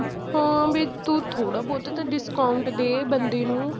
ਹਾਂ ਵੀ ਤੂੰ ਥੋੜ੍ਹਾ ਬਹੁਤ ਤਾਂ discount ਦੇ ਬੰਦੇ ਨੂੰ